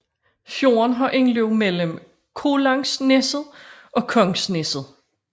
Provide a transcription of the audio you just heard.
Fjorden har indløb mellem Kollangsneset og Kongsneset